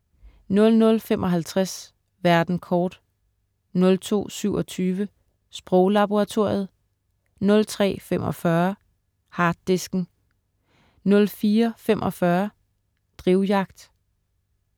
00.55 Verden kort* 02.27 Sproglaboratoriet* 03.45 Harddisken* 04.45 Drivjagt*